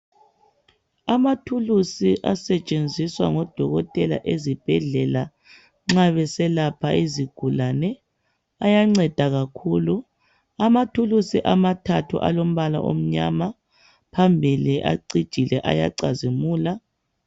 Amathulusi asetshenziswa ngodokotela ezibhedlela nxa beselapha izigulane ayanceda kakhulu. Amathulusi amathathu alombala omnyama , phambili acijile ayacazimula.